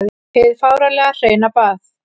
Hið fáránlega hreina bað.